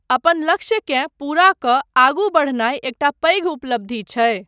अपन लक्ष्यकेँ पूरा कऽ आगू बढ़नाय एकटा पैघ उपलब्धि छै।